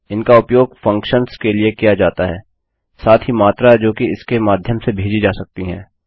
इनका उपयोग फंक्शन्स के लिए किया जाता है साथ ही मात्रा जो कि इसके माध्यम से भेजी जा सकती है